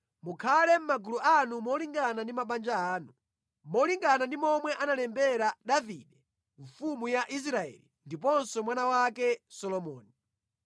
Mukhale mʼmagulu anu molingana ndi mabanja anu, molingana ndi momwe analembera Davide mfumu ya Israeli ndiponso mwana wake Solomoni.